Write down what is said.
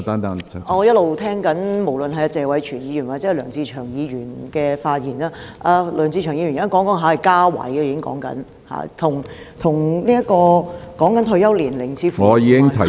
我一直聆聽謝偉銓議員和梁志祥議員的發言，梁志祥議員現在說的是增設職位，與退休年齡似乎無關......